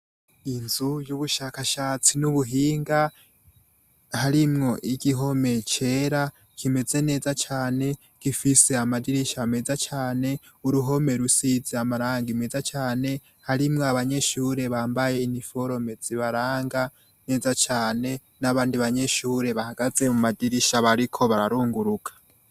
Inzu yubushakashatsi mubuhinga harimwo igihome cera kimeze neza cane gifise amadirisha meza cane uruhome rusize amarangi meza cane harimwo abanyeshure bambaye uniforome zibaranga neza cane nabandi banyeshure bahagaze mumadirisha bariko bararunguruka